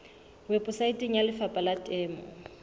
weposaeteng ya lefapha la temo